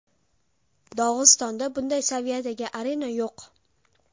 Dog‘istonda bunday saviyadagi arena yo‘q.